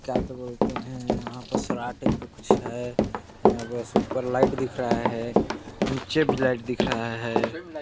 --क्या तो बोलते है वहाँ पास सराट टाइप का कुछ है बस ऊपर लाइट दिख रहा है नीचे भी लाइट दिख रहा है।